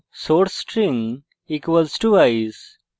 source string = ice